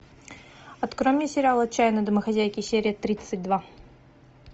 открой мне сериал отчаянные домохозяйки серия тридцать два